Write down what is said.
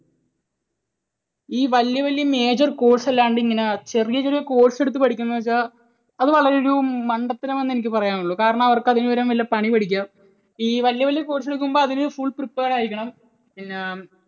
ഈ വലിയ വലിയ major course അല്ലാണ്ട് എങ്ങനെ ഈ ചെറിയ ചെറിയ course എടുത്ത് പഠിക്കുന്നു എന്ന് വെച്ചാൽ അത് വളരെ ഒരു മണ്ടത്തരം എന്നേ എനിക്ക് പറയാനുളളൂ. കാരണം അവർക്ക് അതിനുപകരം വല്ല പണി പഠിക്കാം. ഈ വലിയ വലിയ course എടുക്കുമ്പോൾ അതിന് full prepare ആയിരിക്കണം, പിന്നെ